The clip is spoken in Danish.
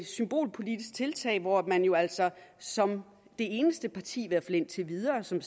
symbolpolitisk tiltag hvor man jo altså som det eneste parti i hvert fald indtil videre som